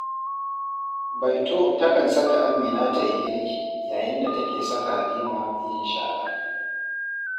Baito takan saka Amina ta yi girki, yayin da take saka Halima yin shara